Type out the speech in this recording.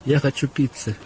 я хочу пиццы